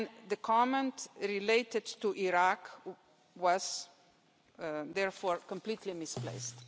The comment related to Iraq was, therefore, completely misplaced.